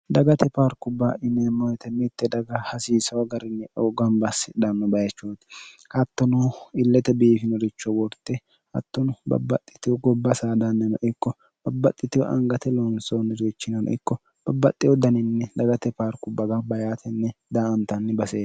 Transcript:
dagate paarku baa ineemmoyote mitte daga hasiisoo agarinyieu gambassidhanno bayechooti hattono illete biifinoricho worte hattonu babbaxxitiu gobba saadannino ikko babbaxxitiwu angate loonsoonni riichinano ikko babbaxxe u daninni dagate paarku baga bayaatenni da antanni basee